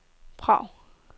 Prag